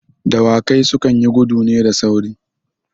Dawakai su kan yi gudu ne da sauri.